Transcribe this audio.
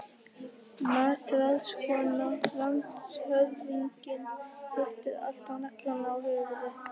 MATRÁÐSKONA: Landshöfðingi hittir alltaf naglann á höfuðið.